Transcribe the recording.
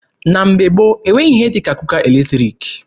Na mgbe gboo, e nweghị ihe dị ka kuka eletriki.